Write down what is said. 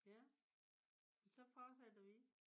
Ja. Så fortsætter vi